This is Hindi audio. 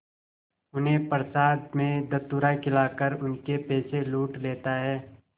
उन्हें प्रसाद में धतूरा खिलाकर उनके पैसे लूट लेता है